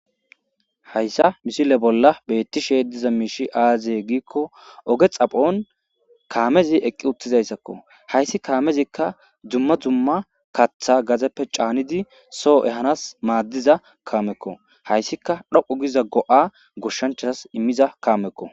hayssa misile bolla beettishee diza miishi aaziye giikko oge xaphon kaamezi eqqi uttizayssakko hayssi kaamezikka dzumma dzumma kaththa gazeppe caanidi soo ehanas maaddiza kaamekko hayssika dhoqu giza go7a goshshanchas immiza kaamekko